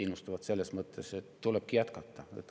Innustavad selles mõttes, et tulebki jätkata.